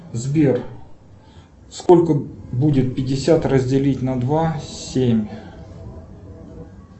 сбер сколько будет пятьдесят разделить на два семь